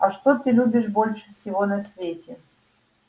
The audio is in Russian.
а что ты любишь больше всего на свете